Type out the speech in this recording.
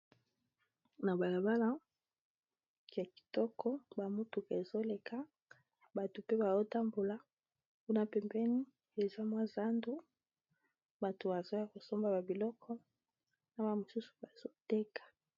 Na balabala ya kitoko ba motuka ezoleka bato pe bao tambola kuna pembeni eza mwa zando bato azo ya kosomba ba biloko na ma mosusu bazoteka.